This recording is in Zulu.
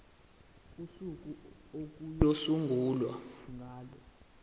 usuku okuyosungulwa ngalo